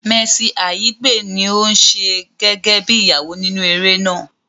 Mercy Aigbe ní ò ń ṣe gẹ́gẹ́ bí Ìyàwó nínú eré náà